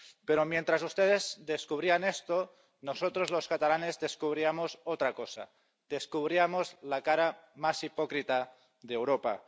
Pero mientras ustedes descubrían esto, nosotros los catalanes descubríamos otra cosa descubríamos la cara más hipócrita de Europa.